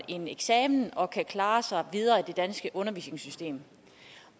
en eksamen og kan klare sig videre i det danske undervisningssystem